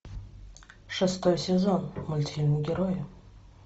шестой сезон мультфильм герои